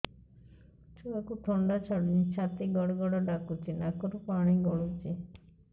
ଛୁଆକୁ ଥଣ୍ଡା ଛାଡୁନି ଛାତି ଗଡ୍ ଗଡ୍ ଡାକୁଚି ନାକରୁ ପାଣି ଗଳୁଚି